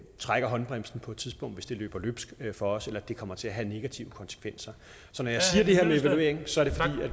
trækker håndbremsen på et tidspunkt hvis det løber løbsk for os eller det kommer til at have negative konsekvenser så